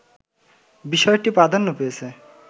বিষয়টি প্রাধান্য পেয়েছে